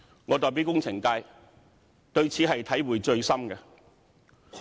我代表工程界，對此體會最深。